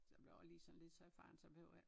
Så blev jeg også sådan lige så erfaren så behøver jeg ik